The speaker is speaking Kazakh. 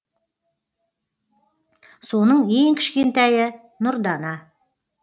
соның ең кішкентайы нұрдана